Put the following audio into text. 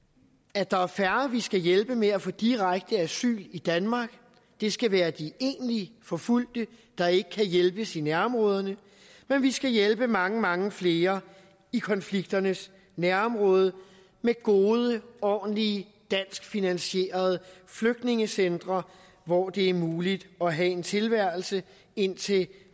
at der er færre vi skal hjælpe med at få direkte asyl i danmark det skal være de egentligt forfulgte der ikke kan hjælpes i nærområderne men vi skal hjælpe mange mange flere i konflikternes nærområde med gode ordentlige danskfinansierede flygtningecentre hvor det er muligt at have en tilværelse indtil